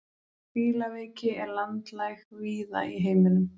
Fílaveiki er landlæg víða í heiminum.